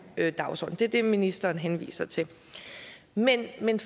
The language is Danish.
dagsorden det er det ministeren henviser til men men